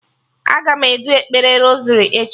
Aga m edu ekpere rosari echi